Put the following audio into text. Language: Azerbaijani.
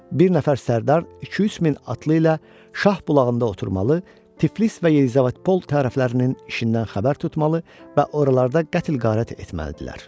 Bir nəfər sərdar iki-üç min atlı ilə Şah bulağında oturmalı, Tiflis və Yelizavetpol tərəflərinin işindən xəbər tutmalı və oralarda qətl-qarət etməlidirlər.